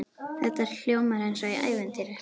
Þetta hljómar eins og í ævintýri.